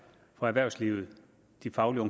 fra erhvervslivet de faglige